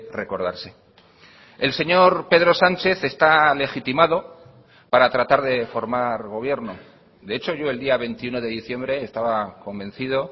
recordarse el señor pedro sánchez está legitimado para tratar de formar gobierno de hecho yo el día veintiuno de diciembre estaba convencido